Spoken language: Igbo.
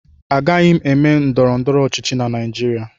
Agaghị m eme ndọrọndọrọ ọchịchị na Naịjirịa